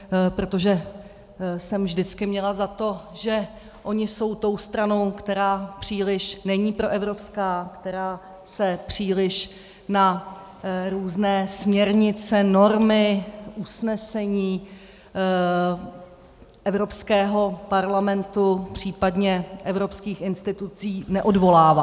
Protože jsem vždycky měla za to, že oni jsou tou stranou, která příliš není proevropská, která se příliš na různé směrnice, normy, usnesení Evropského parlamentu, případně evropských institucí neodvolává.